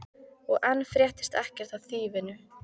Og enn fréttist ekkert af þýfinu.